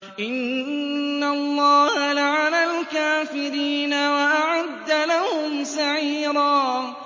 إِنَّ اللَّهَ لَعَنَ الْكَافِرِينَ وَأَعَدَّ لَهُمْ سَعِيرًا